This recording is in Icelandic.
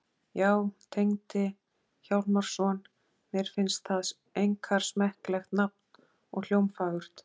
Já, Tengdi Hjálmarsson. mér finnst það einkar smekklegt nafn og hljómfagurt.